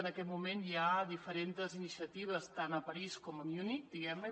en aquest moment hi ha diferents iniciatives tant a parís com a munic diguem ne